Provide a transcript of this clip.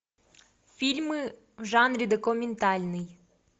фильмы в жанре документальный